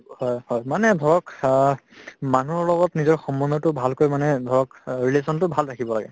মানে ধৰক অহ্ মানুহৰ লগত নিজৰ সম্বন্ধতো ভালকৈ মানে ধৰক অ relation তো ভাল ৰাখিব লাগে